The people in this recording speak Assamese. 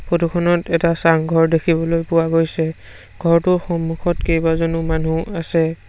ফটো খনত এটা চাংঘৰ দেখিবলৈ পোৱা গৈছে ঘৰটোৰ সন্মুখত কেইবাজনো মানুহ আছে।